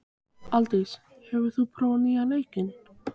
Aðaldís, hefur þú prófað nýja leikinn?